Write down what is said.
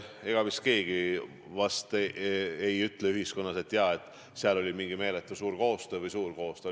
Ega vist keegi ühiskonnas ei ütle, et seal oli meeletult suur koostöö või lihtsalt suur koostöö.